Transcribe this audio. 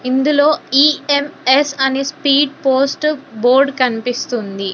ఇందులో ఈ_ఎం_ఎస్ అనే speed post board కనిపిస్తుంది.